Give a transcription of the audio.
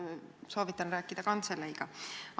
Soovitan rääkida kantseleiga.